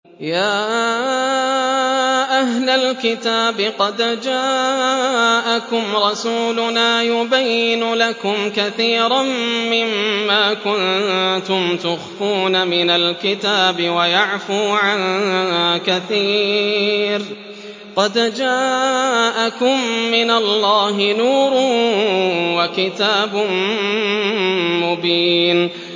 يَا أَهْلَ الْكِتَابِ قَدْ جَاءَكُمْ رَسُولُنَا يُبَيِّنُ لَكُمْ كَثِيرًا مِّمَّا كُنتُمْ تُخْفُونَ مِنَ الْكِتَابِ وَيَعْفُو عَن كَثِيرٍ ۚ قَدْ جَاءَكُم مِّنَ اللَّهِ نُورٌ وَكِتَابٌ مُّبِينٌ